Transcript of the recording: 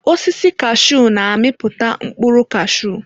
Osisi kashuu na-amiputa mkpụrụ cashuu.